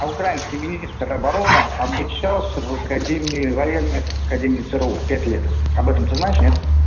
а украинский министр обороны обучался в академии военной академии цру пять лет об этом ты знаешь нет